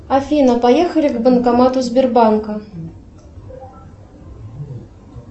афина поехали к банкомату сбербанка